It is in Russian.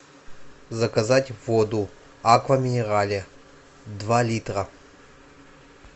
заказать воду аква минерале два литра